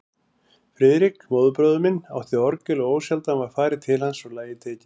Friðrik, móðurbróðir minn, átti orgel og ósjaldan var farið til hans og lagið tekið.